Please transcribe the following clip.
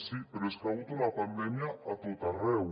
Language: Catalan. sí però és que hi ha hagut una pandèmia a tot arreu